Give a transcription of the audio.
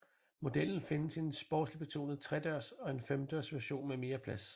Modellen findes i en sportslig betonet tredørs og en femdørs version med mere plads